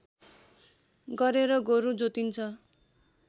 गरेर गोरु जोतिन्छ